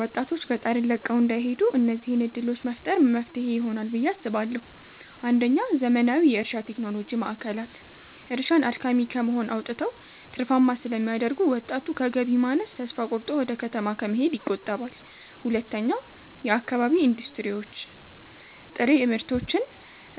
ወጣቶች ገጠርን ለቀው እንዳይሄዱ እነዚህን ዕድሎች መፍጠር መፍትሄ ይሆናል ብየ አስባለሁ ፩. ዘመናዊ የእርሻ ቴክኖሎጂ ማዕከላት፦ እርሻን አድካሚ ከመሆን አውጥተው ትርፋማ ስለሚያደርጉት፣ ወጣቱ በገቢ ማነስ ተስፋ ቆርጦ ወደ ከተማ ከመሰደድ ይቆጠባል። ፪. የአካባቢ ኢንዱስትሪዎች፦ ጥሬ ምርቶችን